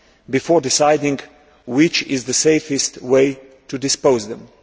before deciding which is the safest way to dispose of them.